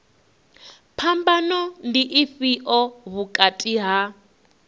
phambano ndi ifhio vhukati ha